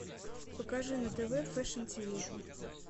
покажи на тв фэшн тиви